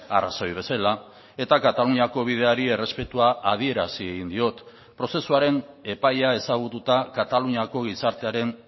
arrazoi bezala eta kataluniako bideari errespetua adierazi egin diot prozesuaren epaia ezagututa kataluniako gizartearen